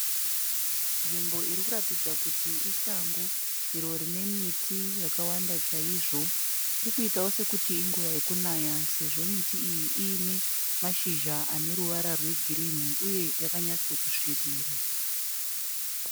Nzvimbo irikuratidza kuti isango, iro rinemiti yakawanda chaizvo. Irikuitawo sekuti inguva yekunaya sezvo miti iyi inemashizha aneruvara rwegirinhi uye yakanyatsokusvibira.